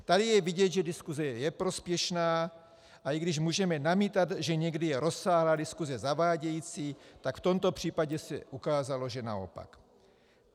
Tady je vidět, že diskuse je prospěšná, a i když můžeme namítat, že někdy je rozsáhlá diskuse zavádějící, tak v tomto případě se ukázalo, že naopak.